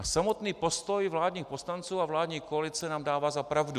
A samotný postoj vládních poslanců a vládní koalice nám dává za pravdu.